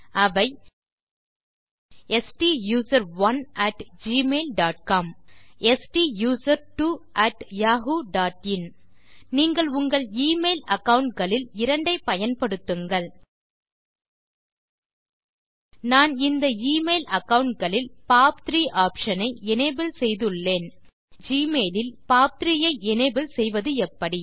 அவை stuserone at Gmail dot com stusertwo at Yahoo dot in நீங்கள் உங்கள் email account களில் இரண்டை பயன்படுத்துங்கள் நான் இந்த மெயில் அகாவுண்ட் களில் பாப்3 ஆப்ஷன் ஐ எனபிள் செய்துள்ளேன் ஜிமெயில் இல் பாப்3 ஐ எனபிள் செய்வதெப்படி